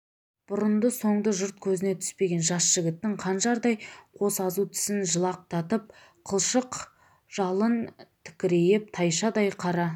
бұрынды-соңды жұрт көзіне түспеген жас жігіттің қанжардай қос азу тісін жалақтатып қылшық жалын тікірейтіп тайшадай қара